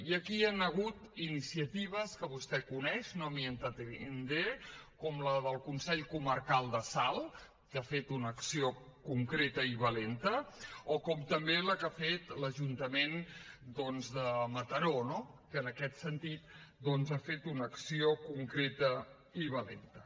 i aquí hi han hagut iniciatives que vostè coneix no m’hi entretindré com la del consell comarcal de salt que ha fet una acció concreta i valenta o com també la que ha fet l’ajuntament de mataró no que en aquest sentit doncs ha fet una acció concreta i valenta